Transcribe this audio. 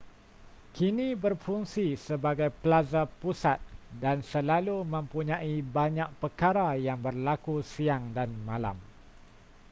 kini berfungsi sebagai plaza pusat dan selalu mempunyai banyak perkara yang berlaku siang dan malam